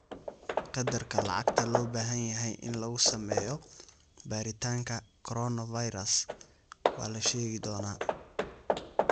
Qadarka lacagta loo baahan yahay in lagu sameeyo baaritaanka coronavirus waa la sheegi doonaa.